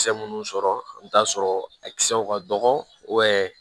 Kisɛ munnu sɔrɔ i bi t'a sɔrɔ a kisɛw ka dɔgɔ